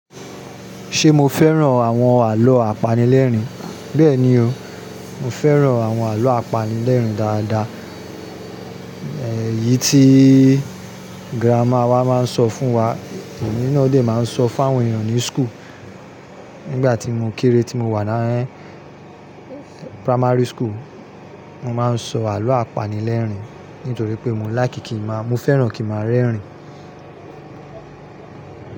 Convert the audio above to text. Ṣe mo fẹ́ràn àwọn àlọ́ àpanilẹ́rìn? Bẹ́ẹ̀ni o, mọ fẹ́ràn àwọn àlọ́ àpanilẹ́rìn dáadáa. Ẹ̀yí tíi grandma wa máa ń sọ fún wa, èmi náa dé máa ń sọ fún àwọn ènìyàn ní school. Nígbà tí mo kéré tí mo wà ní primary school, mo máa ń sọ àlọ́ àpanilẹ́rìn nítorí pé mọ láì kí kì má, mo fẹ́ràn kí màá rẹ́rìn.